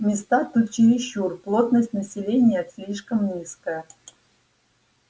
места тут чересчур плотность населения слишком низкая